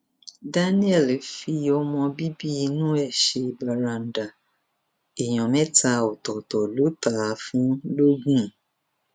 daniel fi ọmọ bíbí inú ẹ ṣe bàràǹdà èèyàn mẹta ọtọọtọ ló tà á fún lọgun